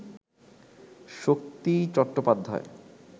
Shakti Chattopadhyay